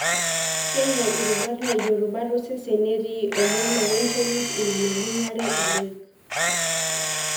Keinyal irubat naijo rubat osesen netii emoloo wentolit ine neibungare loik.